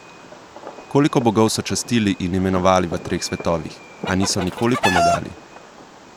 Koliko bogov so častili in imenovali v treh svetovih, a niso nikoli pomagali?